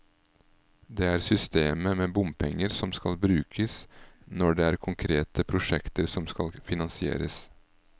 Det er systemet med bompenger som skal brukes når det er konkrete prosjekter som skal finansieres.